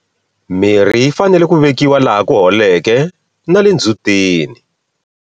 Mirhi yi fanele ku vekiwa laha ku holeke na le ndzhutini.